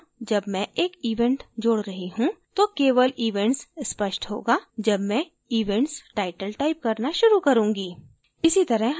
यहाँ जब मैं एक event जोड रही हूं तो केवल events स्पष्ट होगा जब मैं events title टाइप करना शुरू करूँगी